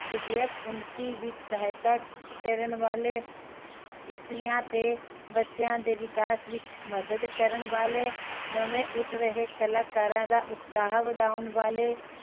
ਵਿਦਿਅਕ ਉੱਨਤੀ ਵਿਚ ਵਾਧਾ ਕਰਣ ਵਾਲੇ, ਇਸਤਰੀਆਂ ਤੇ ਬੱਚਿਆਂ ਦੇ ਵਿਕਾਸ ਵਿਚ ਮਦਦ ਕਰਨ ਵਾਲੇ, ਨਵੇਂ ਉੱਠ ਰਹੇ ਕਲਾਕਾਰਾਂ ਦਾ ਉਤਸਾਹ ਵਧਾਉਣ ਵਾਲੇ